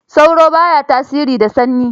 Sauro ba ya tasiri da sanyi.